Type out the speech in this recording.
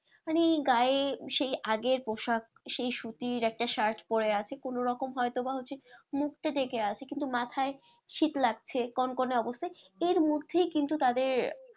মানে গায়ে সেই আগের পোশাক সেই সুতির একটা shirt পরে আছে কোনোরকম হয়তো বা হচ্ছে মুখটা ঢেকে আছে কিন্তু মাথায় শীত লাগছে কনকনে অবস্থায় এর মধ্যেই কিন্তু তাদের,